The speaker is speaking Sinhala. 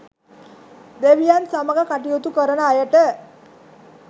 දෙවියන් සමග කටයුතු කරන අයට